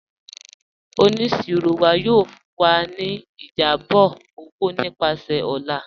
Ọniṣirọ wa yóò fún wa ni ìjábọ̀ owo nípasẹ̀ ọ̀là.